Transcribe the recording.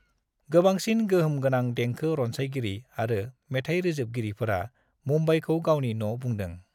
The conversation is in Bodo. गोबांसिन गोहोम गोनां देंखो रनसायगिरि आरो मेथाइ रोजाबगिरिफोरा मुंबईखौ गावनि न' बुंदों।